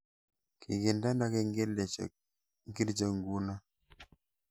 Kigindeno kengeleshek ngircho nguno